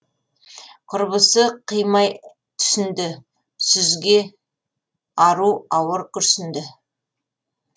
құрбысы қимай түсінді сүзге ару ауыр күрсінді